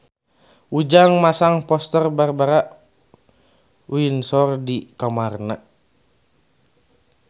Ujang masang poster Barbara Windsor di kamarna